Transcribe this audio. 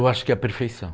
Eu acho que é a perfeição.